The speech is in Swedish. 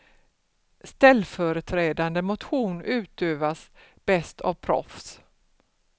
Ställföreträdande motion utövas bäst av proffs.